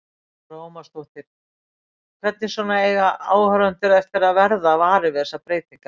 Lára Ómarsdóttir: Hvernig svona eiga áhorfendur eftir að verða varir við þessar breytingar?